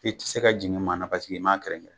I te se ka jigin ma na paseke i m'a kɛrɛn kɛrɛn